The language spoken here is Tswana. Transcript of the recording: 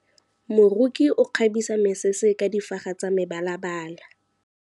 Moroki o kgabisa mesese ka difaga tsa mebalabala.